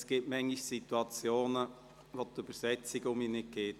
Es gibt manchmal Situationen, in denen die Übersetzung nicht funktioniert.